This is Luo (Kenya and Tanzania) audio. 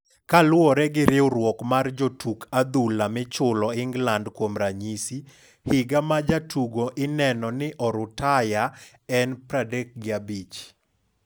Kaluore gi riwruok mar jotuk adhul michulo Inglandkuom ranyisi, higa ma jatugo ineno ni orutaya en 35.